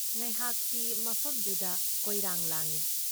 ꯉꯍꯥꯛꯇꯤ ꯃꯐꯝꯗꯨꯗ ꯀꯣꯏꯔꯥꯡ ꯂꯥꯡꯏ ꯫